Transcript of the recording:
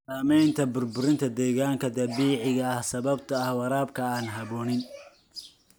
Saamaynta burburinta deegaanka dabiiciga ah sababtoo ah waraabka aan habboonayn.